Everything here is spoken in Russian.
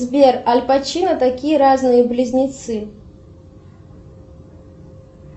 сбер аль пачино такие разные близнецы